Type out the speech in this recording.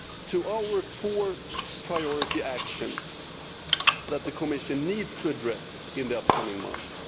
to the four priority actions that the Commission needs to address in the upcoming months.